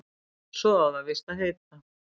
Svo á það víst að heita